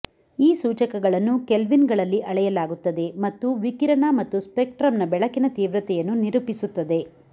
ಈ ಸೂಚಕಗಳನ್ನು ಕೆಲ್ವಿನ್ಗಳಲ್ಲಿ ಅಳೆಯಲಾಗುತ್ತದೆ ಮತ್ತು ವಿಕಿರಣ ಮತ್ತು ಸ್ಪೆಕ್ಟ್ರಮ್ನ ಬೆಳಕಿನ ತೀವ್ರತೆಯನ್ನು ನಿರೂಪಿಸುತ್ತದೆ